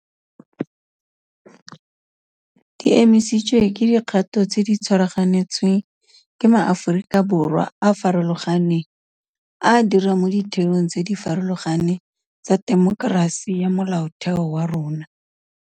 Di emisitswe ke dikgato tse di tshwaraganetsweng ke maAforika Borwa a a farologaneng, a a dirang mo ditheong tse di farologaneng tsa temokerasi ya molaotheo wa rona.